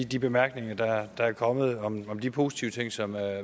de bemærkninger der der er kommet om de positive ting som